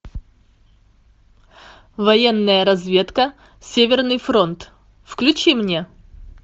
ы